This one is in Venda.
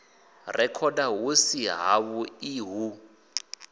rekhoda hu si havhuḓi hu